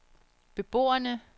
beboerne